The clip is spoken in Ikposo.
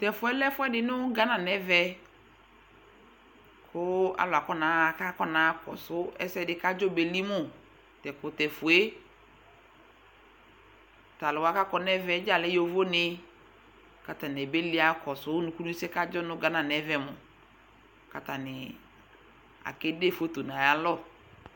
Tʋ ɛfʋ yɛ lɛ ɛfʋɛdɩ nʋ gana nʋ ɛvɛ kʋ alʋ akɔnaɣa kʋ akɔnaɣa akɔsʋ ɛsɛ dɩ kʋ adzɔ beli mʋ Tʋ ɛkʋtɛfue yɛ Tʋ alʋ wa kʋ akɔ nʋ ɛvɛ yɛ dza lɛ yovonɩ kʋ atanɩ abeli ɣa akɔsʋ ɔlʋkunɩ ɛsɛ yɛ kʋ adzɔ nʋ gana nʋ ɛvɛ mʋ kʋ atanɩ akede foto nʋ ayalɔ